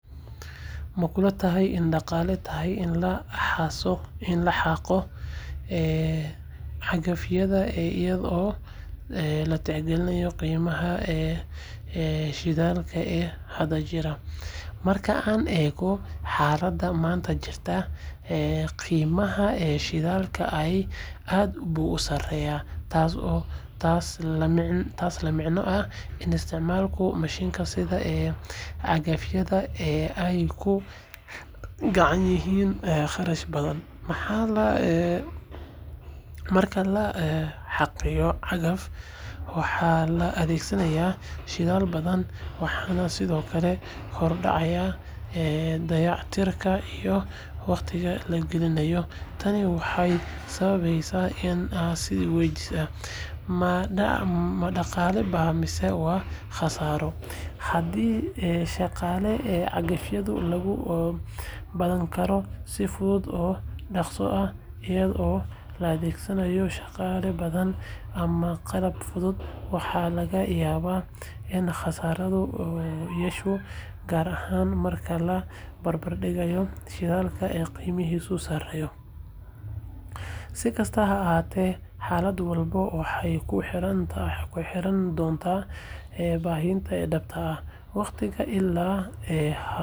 Ma kula tahay inay dhaqaale tahay in la xaaqo cagafyada iyadoo la tixgelinayo qiimaha shidaalka ee hadda jira? Marka aan eegno xaaladda maanta jirta, qiimaha shidaalka aad buu u sareeyaa, taasoo la micno ah in isticmaalka mishiinnada sida cagafyada ay ku kacayaan kharash badan. Marka la xaaqayo cagaf, waxaa la adeegsadaa shidaal badan, waxaana sidoo kale kordhaya dayactirka iyo waqtiga la gelinayo. Tani waxay sababeysaa in la is weydiiyo, ma dhaqaale baa mise waa khasaaro? Haddii shaqada cagafyada lagu qaban karo si fudud oo dhaqso ah iyadoo la adeegsanayo shaqaale badan ama qalab fudud, waxaa laga yaabaa in kharashku yaraado, gaar ahaan marka la barbardhigo shidaalka qiimihiisu sareeyo. Si kastaba ha ahaatee, xaalad walba waxay ku xirnaan doontaa baahida dhabta ah, waqtiga la hayo, iyo khibradda la heli karo. Laakiin marka la eego qiimaha shidaalka maanta, in la yareeyo isticmaalka cagafyada waxay noqon kartaa talo dhaqaale oo wanaagsan.